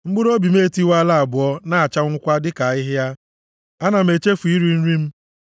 Mkpụrụobi m etiwaala abụọ na-achanwụkwa dịka ahịhịa; ana m echefu iri nri m.